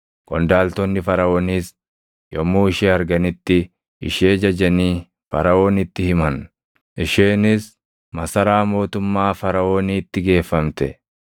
Qondaaltonni Faraʼooniis yommuu ishee arganitti ishee jajanii Faraʼoonitti himan; isheenis masaraa mootummaa Faraʼooniitti geeffamte.